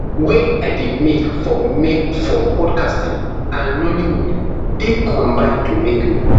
wey i dey make for make for podcasting and nollywood dey combine to make me